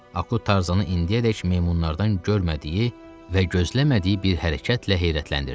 Akut Tarzanı indiyədək meymunlardan görmədiyi və gözləmədiyi bir hərəkətlə heyrətləndirdi.